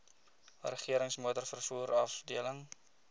regerings motorvervoer afdeling